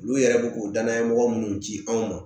Olu yɛrɛ bɛ k'u danaya mɔgɔ minnu ci anw ma